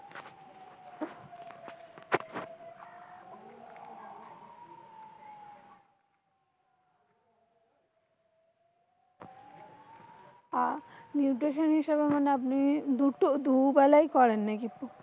আহ nutation হিসেবে আপনি দুটো দুবেলাই করেন নাকি?